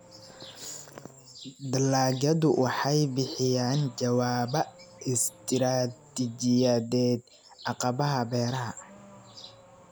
Dalagyadu waxay bixiyaan jawaabo istiraatijiyadeed caqabadaha beeraha.